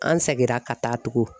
An segira ka taa tugun.